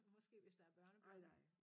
Måske hvis der er børnebørn